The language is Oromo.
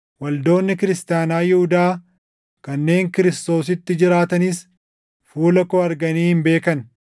Waldoonni Kiristaanaa Yihuudaa kanneen Kiristoositti jiranis fuula koo arganii hin beekan.